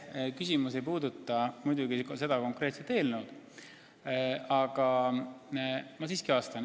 See küsimus ei puuduta muidugi seda konkreetset eelnõu, aga ma siiski vastan.